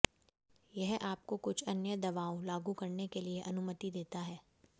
यह आपको कुछ अन्य दवाओं लागू करने के लिए अनुमति देता है